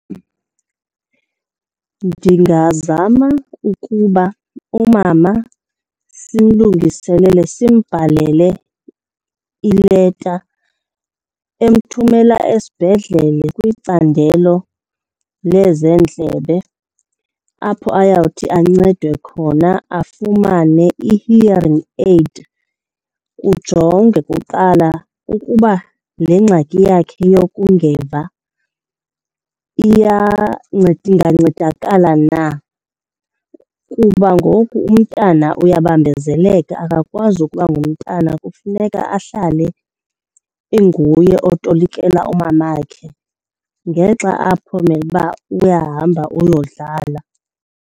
Ndingazama ukuba umama simlungiselele simbhalele ileta emthumela esibhedlele kwicandelo lezeendlebe apho ayawuthi ancedwe khona afumane i-hearing aid. Kujongwe kuqala ukuba le ngxaki yakhe yokungeva ingancedakala na. Kuba ngoku umntana uyabambezeleka akakwazi ukuba ngumntana, kufuneka ahlale inguye otolikela umamakhe ngexa apho umele uba uyahamba uyodlala.